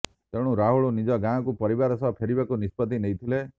ତେଣୁ ରାହୁଲ ନିଜ ଗାଁକୁ ପରିବାର ସହ ଫେରିବାକୁ ନିଷ୍ପତ୍ତି ନେଇଥିଲେ